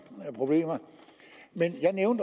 problemer jeg